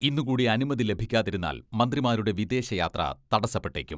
ഇന്നു കൂടി അനുമതി ലഭിക്കാതിരുന്നാൽ മന്ത്രിമാരുടെ വിദേശ യാത്ര തടസപ്പെട്ടേക്കും.